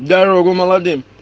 дорогу молодым